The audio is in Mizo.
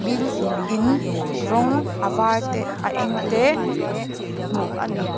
tin in rawng a var te a eng te hmuh a ni.